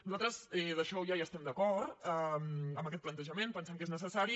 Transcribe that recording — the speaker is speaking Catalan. nosaltres amb això ja hi estem d’acord amb aquest plantejament pensem que és necessari